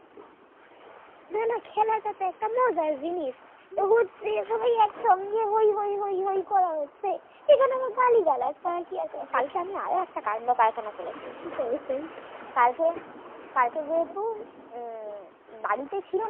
জিনিস হচ্ছে সবাই একসঙ্গে হই হই হই হই করা হচ্ছে সেখানে আবার গালিগালাজ করার কি আছে কালকে আমি আরো একটা কান্ড কারখানা করেছি কালকে কালকে কালকে যেহেতু আহ বাড়িতে ছিলাম